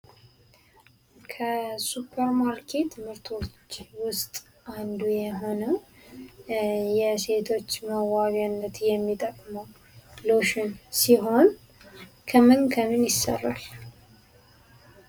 ከሱፐር ማርኬት ምርቶች ውስጥ አንዱ የሆነው የሴቶች መዋቢያነት የሚጠቅሙ ሎሽን ሲሆን ከምን ከምን ይሰራል ?